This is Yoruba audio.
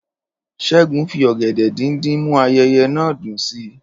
Ṣẹ́gun fi ọ̀gẹ̀dẹ̀ díndín mú ayẹyẹ náà dùn sí i